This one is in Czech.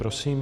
Prosím.